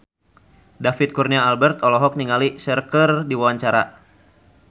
David Kurnia Albert olohok ningali Cher keur diwawancara